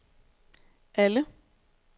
alle